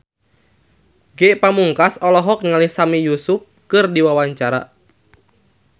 Ge Pamungkas olohok ningali Sami Yusuf keur diwawancara